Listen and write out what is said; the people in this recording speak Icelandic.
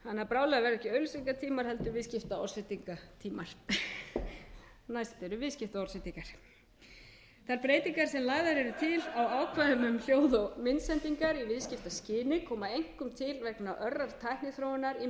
því ekki auglýsingatímar heldur viðskiptaorðsendingatímar næst eru viðskiptaorðsendingar þær breytingar sem lagðar eru til á ákvæðum um hljóð og myndsendingar í viðskiptaskyni koma einkum til vegna örrar tækniþróunar í